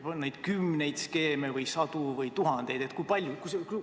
On neid skeeme kümneid või sadu või tuhandeid?